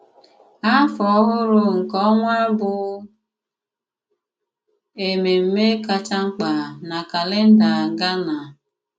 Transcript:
Àfọ Ọhụrụ nke Ọ̀nwa bụ émémmè kacha mk̀pà na kálèndà Ghánà.